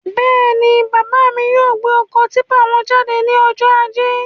Bẹ́ẹ̀ni, bàbá mí yóò gbé ọkọ típpà wọn jáde ní ọjọ ajé